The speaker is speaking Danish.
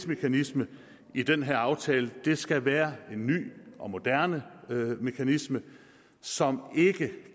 mekanisme i den her aftale skal være en ny og moderne mekanisme som ikke